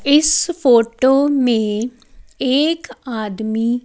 इस फोटो में एक आदमी--